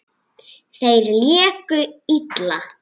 Þeir léku illa.